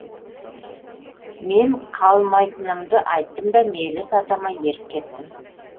мен қалмайтынымды айттым да меліс атама еріп кеттім